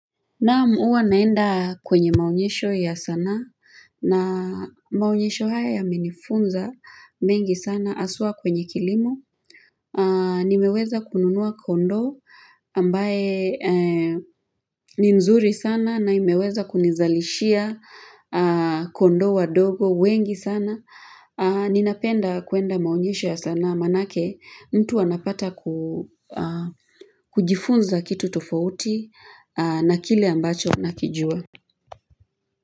Naam huwa naenda kwenye maonyesho ya sanaa na maonyesho haya yamenifunza mengi sana haswa kwenye kilimo. Nimeweza kununua kondoo ambaye ni mzuri sana na imeweza kunizalishia kondoo wadogo wengi sana. Ninapenda kuenda maonyesho ya sanaa manake mtu anapata kujifunza kitu tofauti na kile ambacho nakijua.